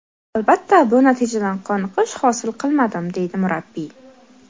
Albatta, bu natijadan qoniqish hosil qilmadim”, deydi murabbiy.